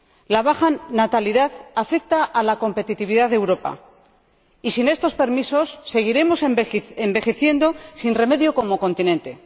La baja natalidad afecta a la competitividad de Europa y, sin estos permisos, seguiremos envejeciendo, sin remedio, como continente.